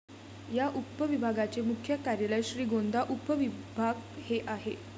या उपविभागाचे मुख्य कार्यालय श्रीगोंदा उपविभाग हे आहे.